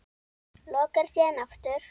Lokar síðan aftur.